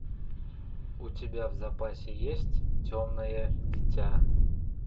у тебя в запасе есть темное дитя